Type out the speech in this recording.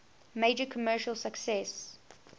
major commercial success